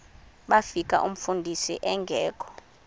bafika umfundisi engekho